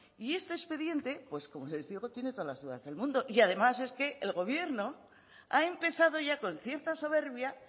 y este expediente como les digo tiene todas las dudas del mundo y además es que el gobierno ha empezado ya con cierta soberbia